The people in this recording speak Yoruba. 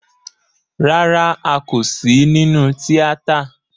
Rárá, a kò sí nínú tíátà